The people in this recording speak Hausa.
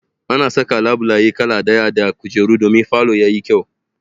Ana saka labulaye kala ɗaya da kujeru domin falo ya yi kyau.